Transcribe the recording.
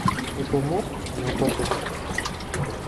Eshomo enaiposha.